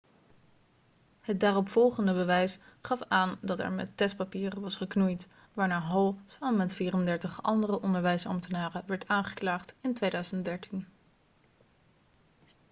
het daaropvolgende bewijs gaf aan dat er met de testpapieren was geknoeid waarna hall samen met 34 andere onderwijsambtenaren werd aangeklaagd in 2013